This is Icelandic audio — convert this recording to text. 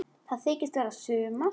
Það þykist vera sumar.